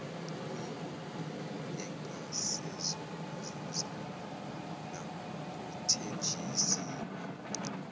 oyigugu engasezokuzuza nakuthenjisiwe